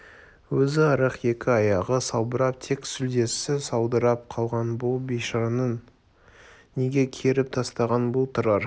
өзі арық екі аяғы салбырап тек сүлдесі саудырап қалған бұл бейшараны неге керіп тастаған бұл тұрар